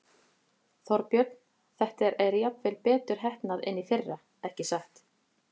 Þorbjörn: Þetta er jafnvel betur heppnað en í fyrra, ekki satt?